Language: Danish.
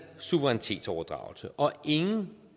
suverænitetsoverdragelse og ingen